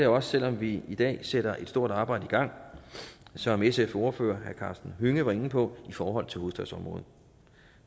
også selv om vi i dag sætter et stort arbejde i gang som sfs ordfører herre karsten hønge var inde på i forhold til hovedstadsområdet